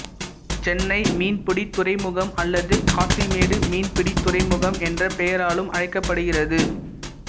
சென்னை மீன்பிடித் துறைமுகம் அல்லது காசிமேடு மீன்பிடித் துறைமுகம் என்ற பெயராலும் அழைக்கப்படுகிறது